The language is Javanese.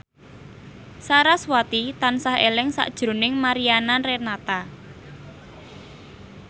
sarasvati tansah eling sakjroning Mariana Renata